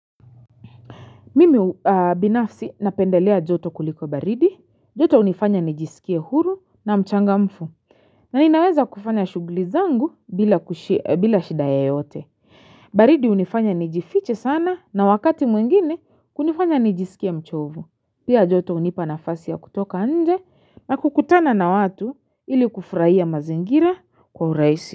Mimi binafsi napendelea joto kuliko baridi, joto hunifanya nijisikie huru na mchangamfu, na inaweza kufanya shughuli zangu bila shida yoyote. Baridi hunifanya nijifiche sana na wakati mwingine kunifanya nijisikie mchovu. Pia joto hunipa nafasi ya kutoka nje na kukutana na watu ili kufuraia mazingira kwa urahisi.